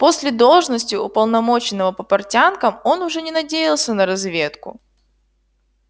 после должности уполномоченного по портянкам он уже не надеялся на разведку